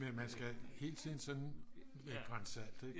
Men man skal hele tiden sådan med et gran salt ikke